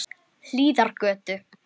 Hlíðargötu